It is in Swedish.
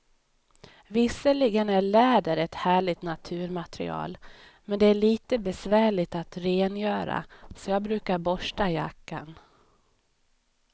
Visserligen är läder ett härligt naturmaterial, men det är lite besvärligt att rengöra, så jag brukar borsta jackan.